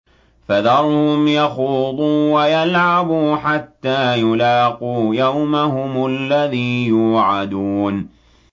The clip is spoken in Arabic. فَذَرْهُمْ يَخُوضُوا وَيَلْعَبُوا حَتَّىٰ يُلَاقُوا يَوْمَهُمُ الَّذِي يُوعَدُونَ